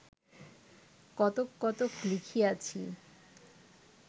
কতক কতক লিখিয়াছি